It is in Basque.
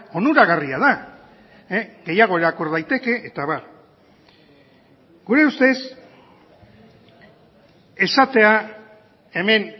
onuragarria da gehiago irakur daiteke eta abar gure ustez esatea hemen